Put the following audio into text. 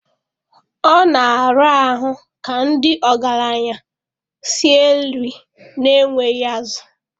Ọ na-arahu ka ndị ọgaranya sie nri na-enweghị azụ.